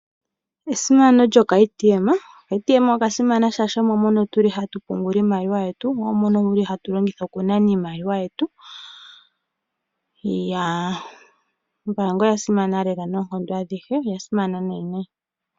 Esimano lyokaATM OkaATM oka simana oshoka omo mono tu li hatu pungula iimaliwa yetu mo omo hatu nana iimaliwa yetu. Ombaanga oya simana lela noonkondo adhihe, oya simana lela nayi.